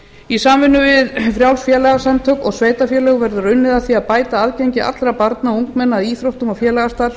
í samvinnu við frjáls félagasamtök og sveitarfélög verður unnið að því að bæta aðgengi allra barna og ungmenna að íþróttum og félagsstarfi